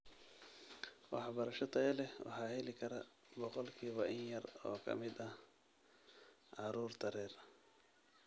Waxbarasho tayo leh waxaa heli kara boqolkiiba in yar oo ka mid ah carruurta rer